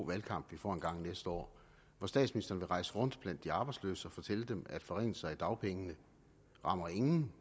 valgkamp vi får engang næste år hvor statsministeren vil rejse rundt blandt de arbejdsløse og fortælle dem at forringelser i dagpengene rammer ingen